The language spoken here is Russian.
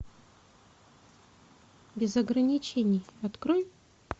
без ограничений открой